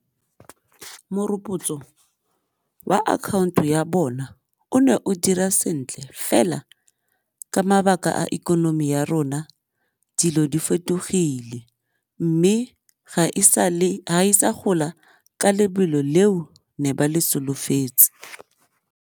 wa account-o ya bona o ne o dira sentle fela ka mabaka a ikonomi ya rona dilo di fetogile mme ga e sa gola ka lebelo leo ne ba le solofetse.